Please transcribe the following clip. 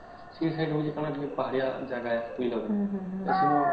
ସେ ସେଠି ହଉଚି ଟିକେ ପାହାଡିଆ ଜାଗା ବୁଝିଲା କି ନାଇଁ ଵେନୁ